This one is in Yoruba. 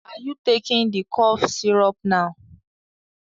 Are you taking the cough syrup now?